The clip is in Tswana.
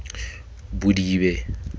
bodibe